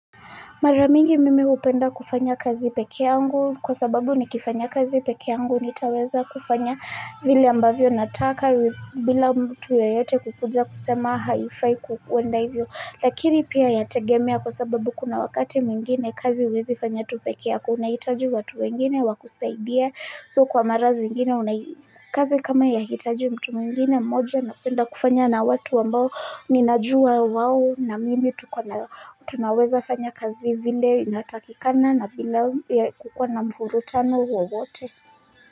Mara mingi mimi hupenda kufanya kazi pekee yangu kwa sababu nikifanya kazi pekee yangu nitaweza kufanya vile ambavyo nataka bila mtu yeyote kukuja kusema haifai kuenda hivyo. Lakini pia yategemea kwa sababu kuna wakati mwingine kazi huwezifanya tu pekee yako unahitaji watu wengine wa kusaidia. So kwa mara zingine una kazi kama yahitaji mtu mwengine mmoja napenda kufanya na watu ambao ninajua wao na mimi tunaweza fanya kazi vile inatakikana na bila kukua na mvurutano wowote.